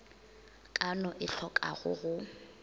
ka no e tlhokago go